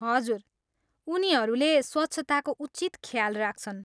हजुर, उनीहरूले स्वच्छताको उचित ख्याल राख्छन्।